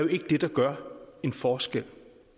det der gør en forskel